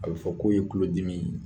A bɛ fɔ k'o ye tulolo dimi ye.